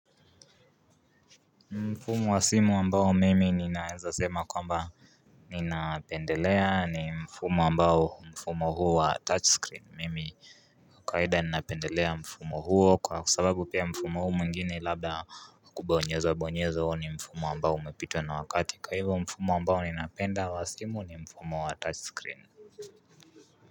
Mfumo wa simu ambao mimi ninaezasema kwamba Ninapendelea ni mfumo ambao mfumo huo wa touch screen mimi kawaida ninapendelea mfumo huo kwa sababu pia mfumo huo mwingine labda kubonyeza bonyeza huo ni mfumo ambao umepitwa na wakati kwa hivyo mfumo ambao ninapenda wa simu ni mfumo wa touch screen.